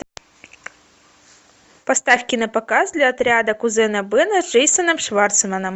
поставь кинопоказ для отряда кузена бена с джейсоном шварцманом